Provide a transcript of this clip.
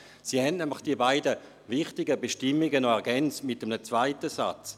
Sie haben die beiden wichtigen Bestimmungen ergänzt mit einem zweiten Satz.